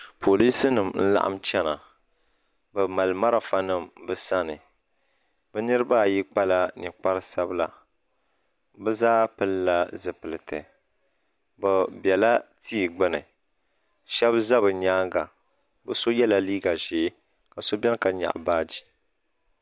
Polisi nima n laɣim chena bɛ mali marafa nima bɛ sani bɛ nitiba ayi kpala ninkpari sabila bɛ zaa pilila zipilti bɛ bela tia gbini sheba za bɛ nyaanga bɛ so yela liiga ʒee ka so biɛni ka nyaɣi baaji.